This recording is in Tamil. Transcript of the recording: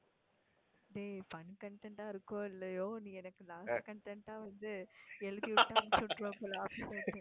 டேய் fun content ஆ இருக்கோ இல்லையோ நீ எனக்கு last content ஆ வந்து எழுதி வச்சு அனுப்பிச்சு விட்டுடுவ போல office ல இருந்து